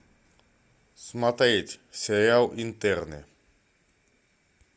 смотреть сериал интерны